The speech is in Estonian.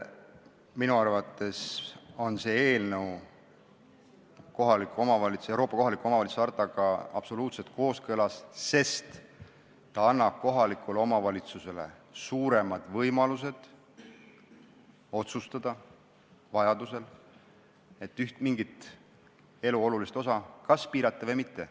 Minu arvates on see eelnõu Euroopa kohaliku omavalitsuse hartaga absoluutselt kooskõlas, sest ta annab kohalikule omavalitsusele suurema võimaluse vajaduse korral otsustada, kas üht elu olulist osa piirata või mitte.